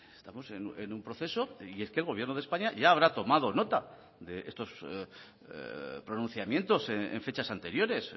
estamos en un proceso y es que el gobierno de españa ya habrá tomado nota de estos pronunciamientos en fechas anteriores